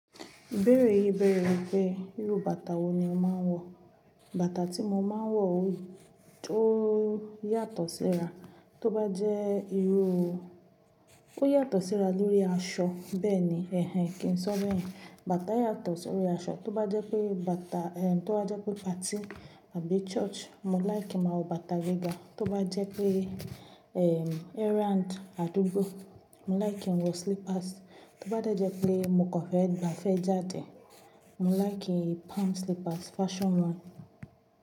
Ìbéèrè yìí béèrè wípé irú bàtà wo ni ó máa ń wọ̀. Bàtà tí mo máa ń wọ̀ ó tó yàtọ̀ síra, tó bá jẹ́ irú ó yàtọ̀ síra lórí aṣọ bẹ́ẹ̀ ni, ẹhen kí n sọ bẹ́yẹ̀n. Bàtà yàtọ̀ sí orí aṣọ, tó bá jẹ́ pé bàtà tó bá jẹ́ pé party àbí church, mo láì kí n máa wọ bàtà gíga. Tó bá jẹ́ pé errand, àdúgbò, mo láì kí n wọ slippers. Tó bá de jẹ́ pé mo kàn fẹ́ gbáfẹ́ jáde, mo láì kí palm slippers fashion one.